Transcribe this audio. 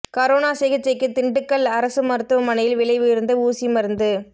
corona சிகிச்சைக்கு திண்டுக்கல் அரசு மருத்துவமனையில் விலை உயா்ந்த ஊசி மருந்து